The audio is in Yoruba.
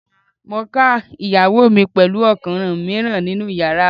Mo ká ìyàwó mi pẹ̀lú ọkùnrin mìíràn nínú yàrá wa.